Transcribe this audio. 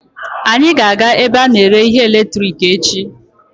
Anyị ga-aga ebe a na-ere ihe eletiriki echi.